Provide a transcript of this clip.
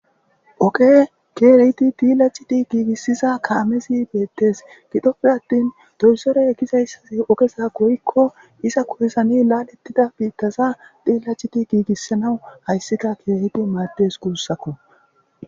Ogee keehidi bilaththidi giigissiza kaamethi beeththees; gidoppe aththin doozoree gidizaysathi ogesa goyyikko iza koysani laaleththida biiththatha xiillacidi giigissanawu keehippe maaddes guussako.